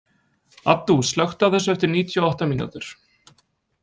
Addú, slökktu á þessu eftir níutíu og átta mínútur.